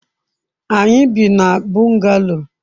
anyi bi na bungalow